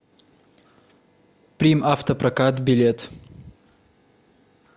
примавтопрокат билет